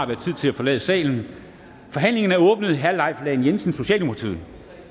været tid til at forlade salen forhandlingen er åbnet herre leif lahn jensen socialdemokratiet